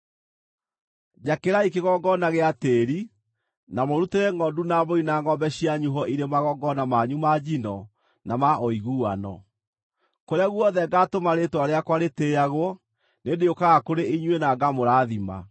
“ ‘Njakĩrai kĩgongona gĩa tĩĩri, na mũrutĩre ngʼondu na mbũri na ngʼombe cianyu ho irĩ magongona manyu ma njino na ma ũiguano. Kũrĩa guothe ngaatũma rĩĩtwa rĩakwa rĩtĩĩagwo, nĩndĩũkaga kũrĩ inyuĩ na ngamũrathima.